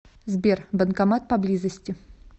сбер банкомат по близости